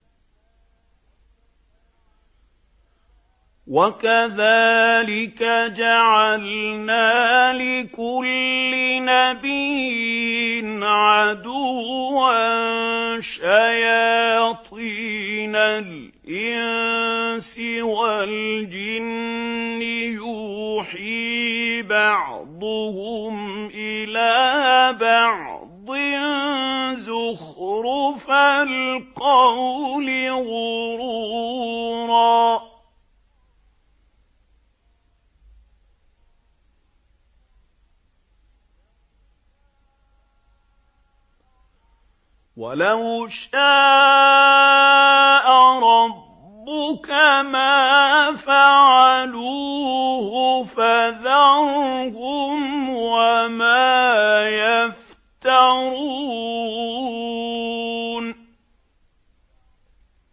وَكَذَٰلِكَ جَعَلْنَا لِكُلِّ نَبِيٍّ عَدُوًّا شَيَاطِينَ الْإِنسِ وَالْجِنِّ يُوحِي بَعْضُهُمْ إِلَىٰ بَعْضٍ زُخْرُفَ الْقَوْلِ غُرُورًا ۚ وَلَوْ شَاءَ رَبُّكَ مَا فَعَلُوهُ ۖ فَذَرْهُمْ وَمَا يَفْتَرُونَ